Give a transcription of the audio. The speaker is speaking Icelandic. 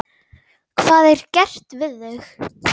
Hvað er gert við þau?